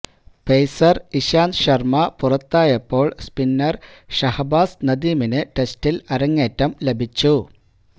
pacer Ishant Sharma പുറത്തായപ്പോള് spinner Shahbaz നദീമിന് ടെസ്റ്റില് അരങ്ങേറ്റം ലഭിച്ചു